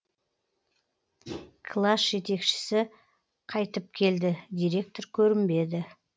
класс жетекшісі қайтып келді директор көрінбеді